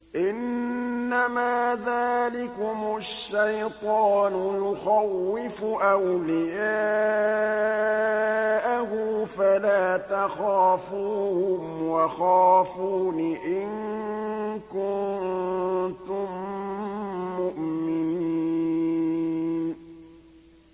إِنَّمَا ذَٰلِكُمُ الشَّيْطَانُ يُخَوِّفُ أَوْلِيَاءَهُ فَلَا تَخَافُوهُمْ وَخَافُونِ إِن كُنتُم مُّؤْمِنِينَ